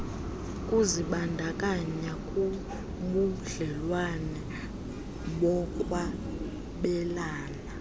kuzibandakanya kubudlelwane bokwabelana